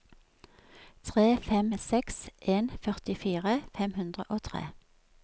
tre fem seks en førtifire fem hundre og tre